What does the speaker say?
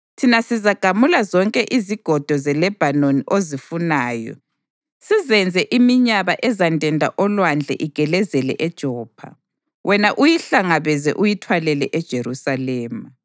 Thina sizagamula zonke izigodo zeLebhanoni ozifunayo, sizenze iminyaba ezandenda olwandle igelezele eJopha. Wena uyihlangabeze uyithwalele eJerusalema.”